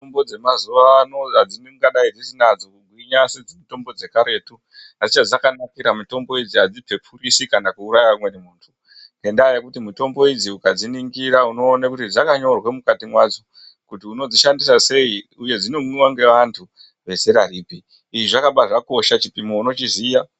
Mitombo dzemazuwa ano dzingadai dzisina hadzo kugwinya sedzemitombo dzekaretu asi chedzakanakira mitombo idzi adzina kana kuuraya amweni antu ngendaa yekuti mitombo idzi ukadziningira unoona kuti dzakanyirwa mukati mwadzo kuti unodzishandisa sei uye dzinomwiwa ngevantu vezera ripi. Izvi zvakabva zvakosha nekuti chipimo unochiziya.